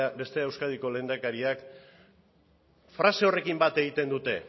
bestea euskadiko lehendakaria frase horrekin bat egiten dute